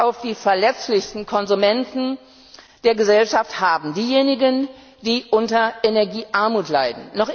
auf die verletzlichsten Konsumenten der Gesellschaft haben, diejenigen, die unter Energie Armut leiden.